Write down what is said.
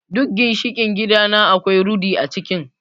Duk ginshiƙin gidana akwai rudi a cikin.